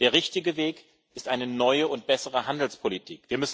Der richtige Weg ist eine neue und bessere Handelspolitik.